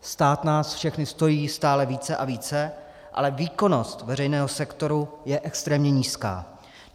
Stát nás všechny stojí stále více a více, ale výkonnost veřejného sektoru je extrémně nízká.